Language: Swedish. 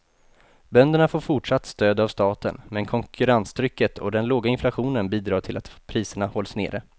Bönderna får fortsatt stöd av staten, men konkurrenstrycket och den låga inflationen bidrar till att priserna hålls nere.